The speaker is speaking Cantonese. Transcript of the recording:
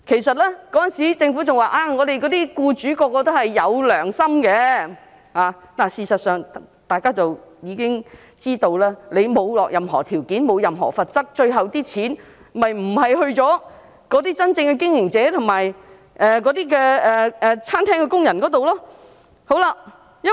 當時政府表示，所有僱主也是有良心的，但事實上，大家也知道，如果沒有施加任何條件或罰則，款項最後是不會落在經營者或餐廳工人手上的。